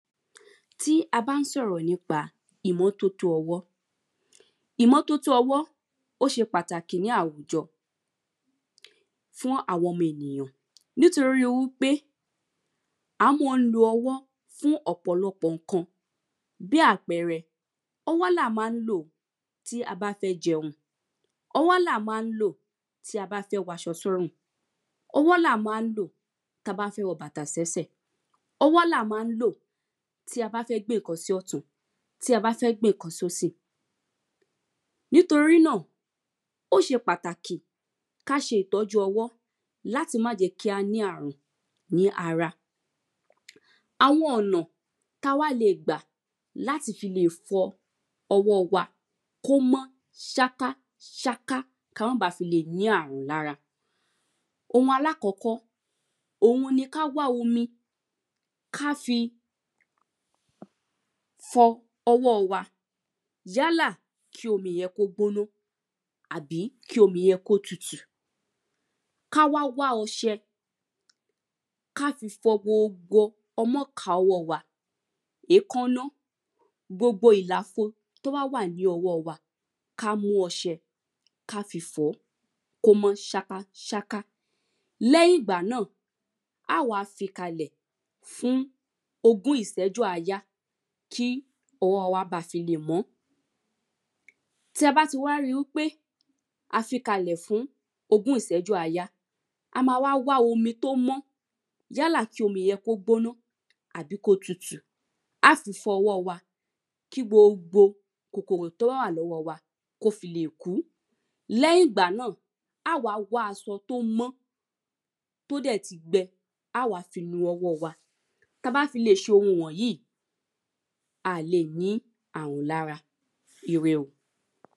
Tí a bá ń sọ̀rọ̀ nípa ìmọ́tótó ọwó. Ìmọ́tótó ọwó ó ṣe pàtàkì ní àwùjọ fún àwọn ọmọ ènìyàn nítoríwípé à mọ́ ń lo ọwọ́ fún ọ̀pọ̀lọpọ̀ nǹkan bí apẹrẹ ọwó là má ń lò tí a bá fẹ́ jẹun. Ọwó là má ń lò tí a bá fẹ́ waṣọ sọ́rùn. Ọwó là má ń lò ta bá fẹ́ wọ bàtà sẹ́sè. Ọwó là má ń lò tí a bá fẹ́ gbé nǹkan sọ́tùn tí a bá fẹ́ gbé nǹkan sósì. Nítorí náà ó ṣe pàtàkì ká ṣe ìtójú ọwọ́ láti má jẹ́ kí a ní àrùn ní ara. Àwọn ọ̀nà tá wá le gbà láti fi lè fọ ọwọ́ wa kó mọ́ ṣákáṣáká ká mọ́ ba fi lè ní àrùn lára. Ohun alákọ́kọ́ òhun ni ká wá omi ká fi fọ ọwọ́ wa yálà kí omi yẹn kó gbóná àbí kí omi yẹn kó tutù ká wá wá ọṣẹ ká fi fọ gbogbo ọmọka ọwọ́ wa èkáná gbogbo ìlàfo tó bá wà ní ọwọ́ wa ká mú ọsẹ ká fi fọ̀ọ́ kó mọ́ ṣákáṣáká. Lẹ́yìn ìgbà náà á wá fi kalè fún ogún ìṣẹ́jú àáyá kí ọwọ́ wa bá fi lè mọ́. Tí a bá ti wá rí wípé a fi kalẹ̀ fún ogún ìṣẹ́jú àájá a má wá wá omi tó mọ́ yálà kí omi yẹn kí ó gbóná àbí kí ó tutù á fi fọ ọwọ́ wa kí gbogbo kòkòrò tó bá wà lọ́wọ́ wa kó fi lè kú. Leyìn ìgbà náà á wá wá asọ tó mọ́ tó dẹ̀ ti gbẹ á wá fi nu ọwọ́ wa. Tá bá fi lè ṣohun wọ̀nyí a lè ní àrùn lára ire o.